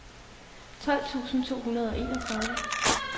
tolv tusind to hundrede og enogtredive